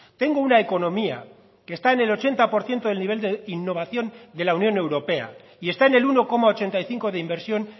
tengo una economía que está en el ochenta por ciento del nivel de innovación de la unión europea y está en el uno coma ochenta y cinco de inversión